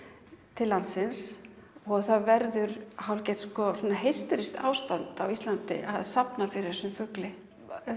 til landsins það verður hálfgert ástand á Íslandi að safna fyrir þessum fugli